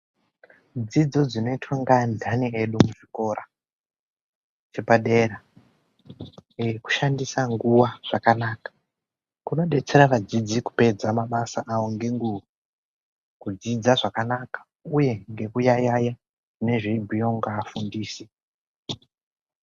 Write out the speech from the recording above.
Dzidzo dzinoitwe ngeandhani edu kuzvikora zvepadera kushandisa nguwa zvakanaka kunodetsera vadzidzi kupedza mabasa awo ngenguwa, kudzidza zvakanaka uye ngekuyayaya nezvinobhuyiwa ngevafundisi.